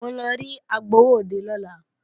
Mò ń lọ rí agbowóòde lọ́la